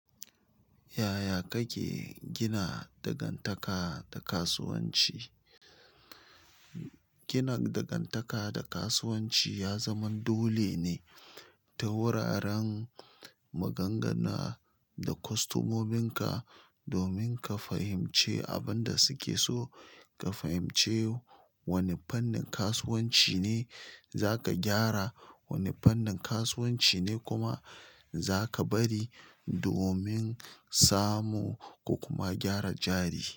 Yaya kake gina dangantaka ta kasuwanci? Gina dangantaka ta kasuwanci ya zama dole ne ta wuraren magana da kwastomomin ka domin ka fahimci abin da suke so, ka fahimci wane fannin kasuwanci ne za ka gyara, wane fannin kasuwanci ne kuma zaka bari domin samu ko kuma gyara jari.